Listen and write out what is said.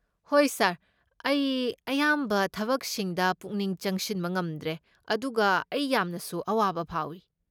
ꯍꯣꯏ ꯁꯥꯔ, ꯑꯩ ꯑꯌꯥꯝꯕ ꯊꯕꯛꯁꯤꯡꯗ ꯄꯨꯛꯅꯤꯡ ꯆꯪꯁꯤꯟꯕ ꯉꯝꯗ꯭ꯔꯦ, ꯑꯗꯨꯒ ꯑꯩ ꯌꯥꯝꯅꯁꯨ ꯑꯋꯥꯕ ꯐꯥꯎꯏ꯫